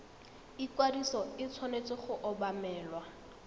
ikwadiso e tshwanetse go obamelwa